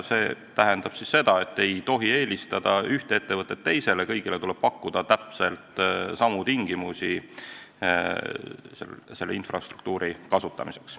See tähendab seda, et ei tohi eelistada üht ettevõtet teisele ja tuleb pakkuda kõigile täpselt samu tingimusi infrastruktuuri kasutamiseks.